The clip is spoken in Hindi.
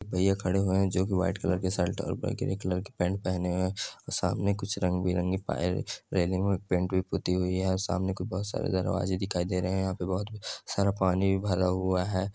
भैया खड़े हुए है जो की व्हाइट कलर की शर्ट और कलर की पैंट पहने है और सामने कुछ रंग-बिरंगे पैर रेलिंग मे पेंट भी पुती हुई है और सामने बहुत सारे दरवाजे दिखाई दे रहे है और यहा पे बहुत सारा पानी भी भरा हुआ है।